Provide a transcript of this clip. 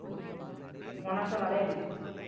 போன வருஷம் வளையல்